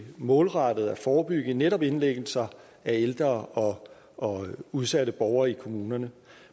målrettet at forebygge netop indlæggelser af ældre og udsatte borgere i kommunerne